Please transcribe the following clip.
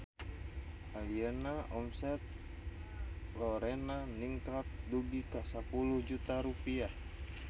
Ayeuna omset Lorena ningkat dugi ka 10 juta rupiah